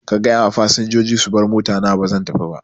Ka gayawa fasinjoji su bar motana bazan tafiba